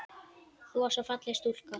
Þú varst svo falleg stúlka.